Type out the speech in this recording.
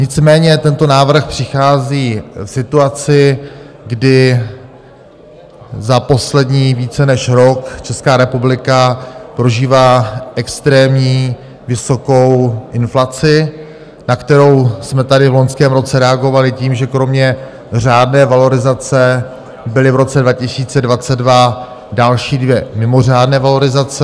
Nicméně tento návrh přichází v situaci, kdy za poslední více než rok Česká republika prožívá extrémní, vysokou inflaci, na kterou jsme tady v loňském roce reagovali tím, že kromě řádné valorizace byly v roce 2022 další dvě mimořádné valorizace.